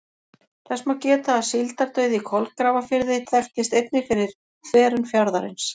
Þess má geta að síldardauði í Kolgrafafirði þekktist einnig fyrir þverun fjarðarins.